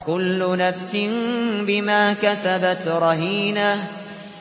كُلُّ نَفْسٍ بِمَا كَسَبَتْ رَهِينَةٌ